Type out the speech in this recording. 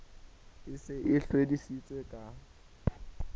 e se e hlwedisitse ka